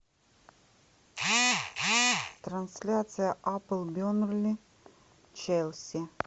трансляция апл бернли челси